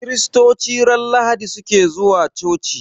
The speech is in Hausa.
Kiristoci ran lahadi suke zuwa coci